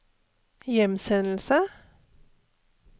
hjemsendelse